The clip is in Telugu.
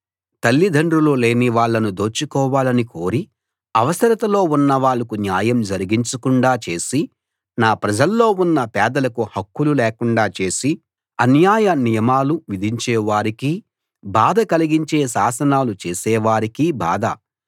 తల్లిదండ్రులు లేని వాళ్ళను దోచుకోవాలనీ కోరి అవసరతలో ఉన్న వాళ్లకు న్యాయం జరిగించకుండా చేసి నా ప్రజల్లో ఉన్న పేదలకు హక్కులు లేకుండా చేసి అన్యాయ నియమాలు విధించే వారికీ బాధ కలిగించే శాసనాలు చేసే వారికీ బాధ